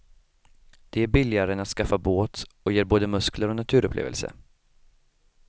Det är billigare än att skaffa båt och ger både muskler och naturupplevelse.